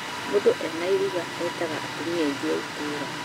Mũndũ ena irũga etaga atumia angi a itũũra